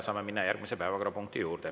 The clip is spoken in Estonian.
Saame minna järgmise päevakorrapunkti juurde.